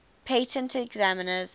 patent examiners